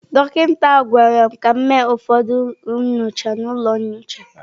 Dọkịta ahụ gwara m ka m mee ụfọdụ nyocha n'ụlọ nyocha.